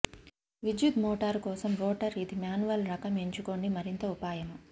విద్యుత్ మోటారు కోసం రోటర్ ఇది మాన్యువల్ రకం ఎంచుకోండి మరింత ఉపాయము